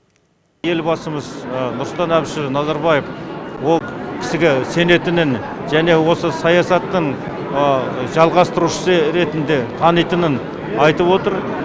елбасымыз нұрсұлтан әбішұлы назарбаев ол кісіге сенетінін және осы саясатын жалғастырушысы ретінде танитынын айтып отыр